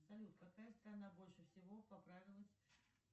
салют какая страна больше всего поправилась